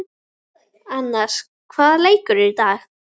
Annas, hvaða dagur er í dag?